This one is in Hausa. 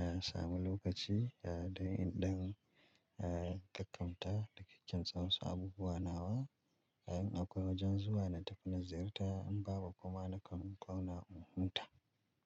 a, samu lokaci, a, don, don, a, in gaggauta da ke kyan tsawon su abubuwa nawa. In akwai wajen zuwa na tafi na ziyarta in ba bu kuma nakan zauna na in huta.